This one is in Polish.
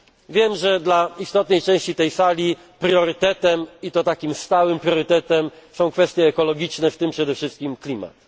było. Wiem, że dla istotnej części tej Sali priorytetem i to stałym są kwestie ekologiczne, w tym przede wszystkim klimat.